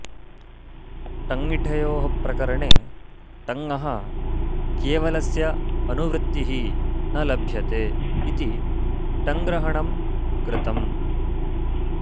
ठञ्ञिठयोः प्रकरणे ठञः केवलस्य अनुवृत्तिः न लभ्यते इति ठञ्ग्रहणं कृतम्